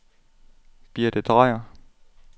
Birthe Drejer